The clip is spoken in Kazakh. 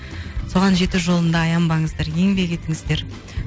соған жету жолында аянбаңыздар еңбек етіңіздер